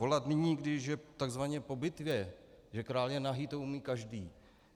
Volat nyní, když je takzvaně po bitvě, že král je nahý, to umí každý.